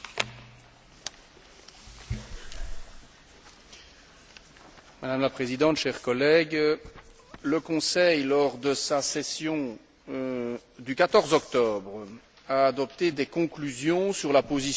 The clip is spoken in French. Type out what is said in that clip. Chers collègues, le Conseil, lors de sa session du 14 octobre, a adopté des conclusions sur la position de l'Union européenne, en vue de la Conférence de Cancún sur le climat, lors de laquelle